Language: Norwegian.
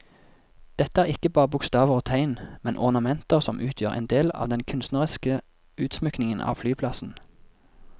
Dette er ikke bare bokstaver og tegn, men ornamenter som utgjør en del av den kunstneriske utsmykningen av flyplassen.